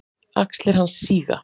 Axlir hans síga.